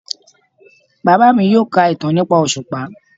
Baba mi yoo ka itan nipa oṣupa